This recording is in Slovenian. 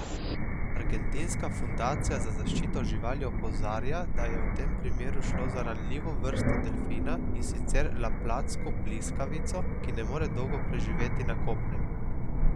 Argentinska fundacija za zaščito živali opozarja, da je v tem primeru šlo za ranljivo vrsto delfina, in sicer laplatsko pliskavico, ki ne more dolgo preživeti na kopnem.